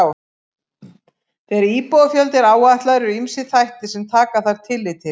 Þegar íbúafjöldi er áætlaður eru ýmsir þættir sem taka þarf tillit til.